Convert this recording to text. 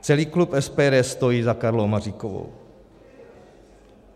Celý klub SPD stojí za Karlou Maříkovou.